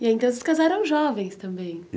E aí, então, vocês casaram jovens também?